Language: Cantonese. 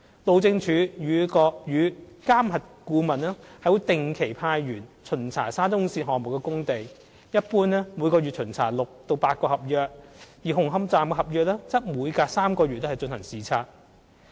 路政署與監核顧問會定期派員巡查沙中線項目的工地，一般每月巡查6至8個合約，而紅磡站的合約則每隔3個月進行視察。